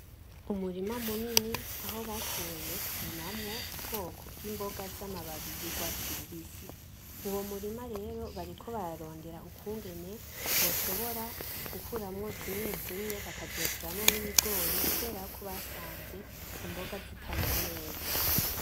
Umurima munini, aho bashoboye kurimamwo ubwoko imboga z'amababi y'urwatsi rubisi, uwo murima rero bariko bararondera ukungene boshobora gukuramwo zimwe zimwe, bakazoteramwo n'ibigori kubera ko basanze imboga zitamera neza.